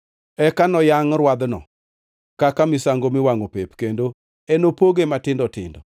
Eka noyangʼ rwadhno kaka misango miwangʼo pep kendo enopoge matindo tindo.